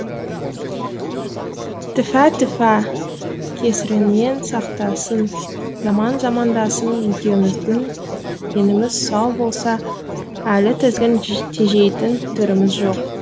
тіфә тіфә кесірінен сақтасын жаман замандасың екеуміздің деніміз сау болса әлі тізгін тежейтін түріміз жоқ